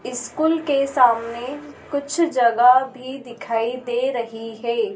School के सामने कुछ जगह भी दिखाई दे रही है।